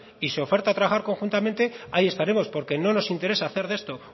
y se oferta trabajar conjuntamente ahí estaremos porque no nos interesa hacer de esto